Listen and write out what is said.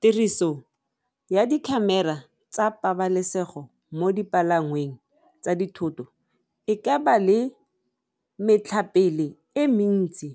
Tiriso ya di-camera tsa pabalesego mo dipalangweng tsa dithoto e ka ba le metlhapele e mentsi